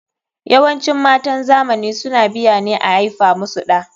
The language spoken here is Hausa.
YAwancin matan zamani suna biya ne a aifa musu ɗa.